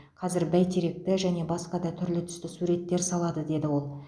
қазір бәйтеректі және басқа да түрлі түсті суреттер салады деді ол